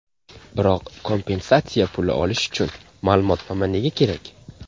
Biroq, kompensatsiya puli olish uchun ma’lumotnoma nega kerak?